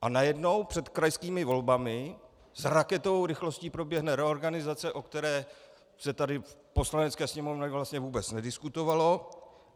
A najednou před krajskými volbami s raketovou rychlostí proběhne reorganizace, o které se tady v Poslanecké sněmovně vlastně vůbec nediskutovalo.